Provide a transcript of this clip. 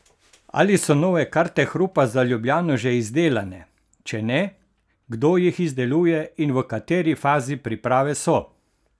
Ali so nove karte hrupa za Ljubljano že izdelane, če ne, kdo jih izdeluje in v kateri fazi priprave so?